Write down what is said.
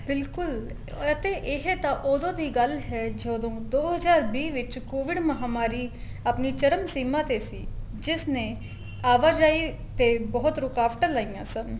ਬਿਲਕੁਲ ਅਤੇ ਇਹ ਤਾਂ ਉਹ ਉਦੋਂ ਦੀ ਗੱਲ ਹੈ ਜਦੋਂ ਦੋ ਹਜਾਰ ਵੀਹ ਵਿੱਚ could ਮਹਾਮਾਰੀ ਆਪਣੀ ਚਰਨ ਸੀਮਾ ਤੇ ਸੀ ਜਿਸ ਨੇ ਆਵਾਜਾਈ ਤੇ ਬਹੁਤ ਰੁਕਾਵਟਾ ਲਾਈਆਂ ਸਨ